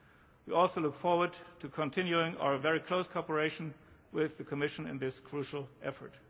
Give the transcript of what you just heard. to do. We also look forward to continuing our very close cooperation with the Commission in this crucial effort.